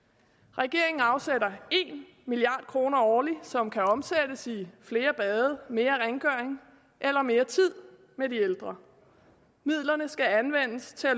regeringen afsætter en milliard kroner årligt som kan omsættes i flere bade mere rengøring eller mere tid med de ældre midlerne skal anvendes til at